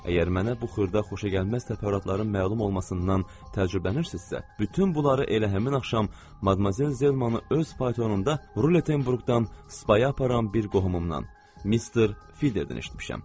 Əgər mənə bu xırda xoşagəlməz təfərrüatların məlum olmasından təəccüblənirsinizsə, bütün bunları elə həmin axşam Madmazel Zelmanın öz patoronunda Ruletenburqdan Spaya aparan bir qohumumdan, Mister Fideredən eşitmişəm.